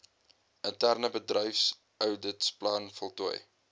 interne bedryfsouditplan voltooi